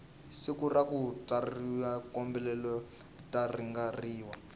siku rakutswariwa kahholobwe ratlangeriwa